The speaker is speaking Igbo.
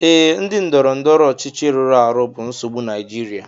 Ee, ndị ndọrọndọrọ ọchịchị rụrụ arụ bụ nsogbu Naijiria